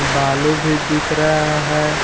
बालू भी दिख रहा है।